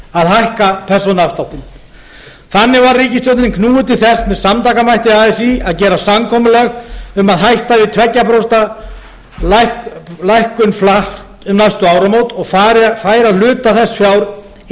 að hækka persónuafsláttinn þannig var ríkisstjórnin knúin til þess með samtakamætti así að gera samkomulag um að hætta við tveggja prósenta lækkun flatt um næstu áramót og færa hluta þess fjár yfir